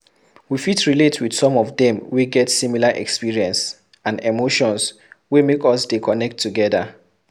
We fit relate with some of them wey get similar experience and emotions wey make us de connect together